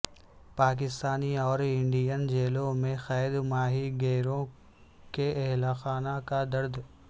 پاکستانی اور انڈین جیلوں میں قید ماہی گیروں کے اہلخانہ کا درد